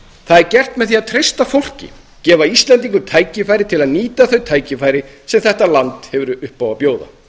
það er gert með því að treysta fólki gefa íslendingum tækifæri til að nýta þau tækifæri sem þetta land hefur upp á að bjóða